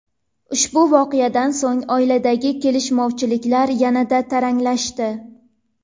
Ushbu voqeadan so‘ng oiladagi kelishmovchiliklar yanada taranglashdi.